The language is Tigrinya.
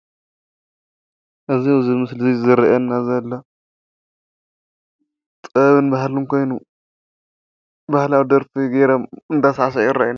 እዚ ኣብዚ ምስሊ ዝረኣየኒ ዘሎ ጥበብን ባህልን ኮይኑ ባህላዊ ደርፊ ገይሮም እንዳሳዕስዑ ይረአዩ።